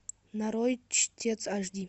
нарой чтец аш ди